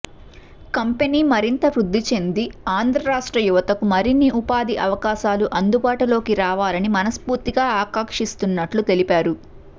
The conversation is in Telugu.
కంపెనీ మరింత వృద్ధి చెంది ఆంధ్రరాష్ట్ర యువతకు మరిన్ని ఉపాధి అవకాశాలు అందుబాటులోకి రావాలని మనస్పూర్తిగా ఆకాంక్షిస్తున్నట్లు తెలిపారు